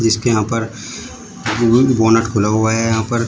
इसके यहां पर बोनट खुला हुआ है यहां पर--